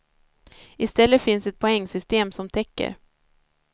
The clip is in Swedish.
I stället finns ett poängsystem som täcker.